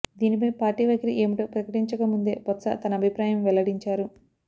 దీనిపై పార్టీ వైఖరి ఏమిటో ప్రకటించక ముందే బొత్స తన అభిప్రాయం వెల్లడించారు